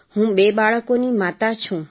હું બે બાળકોની માતા છું